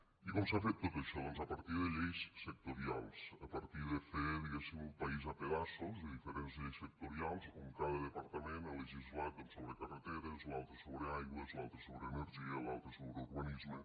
i com s’ha fet tot això doncs a partir de lleis sectorials a partir de fer diguéssim un país a pedaços de diferents lleis sectorials on cada departament ha legislat sobre carreteres l’altre sobre aigües l’altre sobre energia l’altre sobre urbanisme